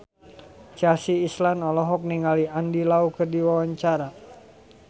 Chelsea Islan olohok ningali Andy Lau keur diwawancara